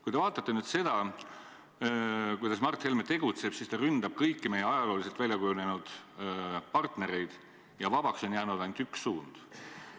Kui te vaatate seda, kuidas Mart Helme tegutseb, siis näete, et ta ründab kõiki meie ajalooliselt väljakujunenud partnereid, vabaks on jäänud ainult üks suund.